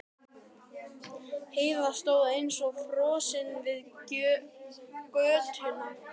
Heiða stóð eins og frosin við götuna.